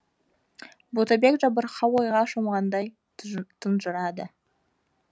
ботабек жабырқау ойға шомғандай тұнжырады